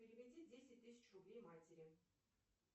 переведи десять тысяч рублей матери